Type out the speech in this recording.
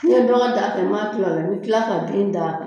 Ni ye dɔ ka da ta i ma kila ola i bɛ kila ka bin d'a kan.